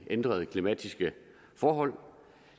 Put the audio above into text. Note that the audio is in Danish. ændrede klimatiske forhold